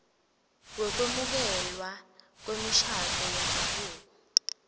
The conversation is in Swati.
wekwemukelwa kwemishado yendzabuko